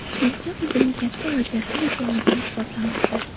Filcha o‘zining katta va jasur ekanligini isbotlamoqda.